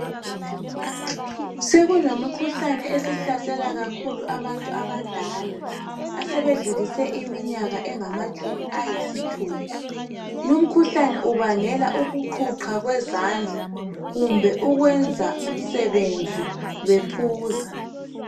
Sekulemikhuhlane esihlasela kakhulu abantu abadala asebedlulise iminyaka engamakhulu ayisithupha. Lumkhuhlane kubangela ukuqhuqha kwezandla kumbe ukwenza umsebenzi bephuza.